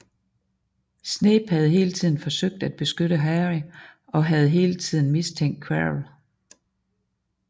Snape havde hele tiden forsøgt at beskytte Harry og havde hele tiden mistænkt Quirrell